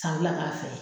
San fila k'a feere